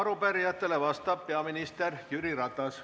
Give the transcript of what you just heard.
Arupärijatele vastab peaminister Jüri Ratas.